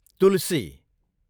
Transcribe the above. तुलसी